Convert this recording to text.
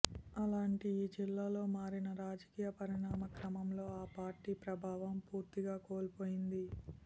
అలాంటి ఈ జిల్లాలో మారిన రాజకీయ పరిణామ క్రమంలో ఆ పార్టీ ప్రాబవం పూర్తిగా కోల్పోయింది